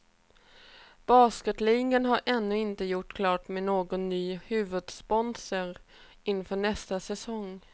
Basketligan har ännu inte gjort klart med någon ny huvudsponsor inför nästa säsong.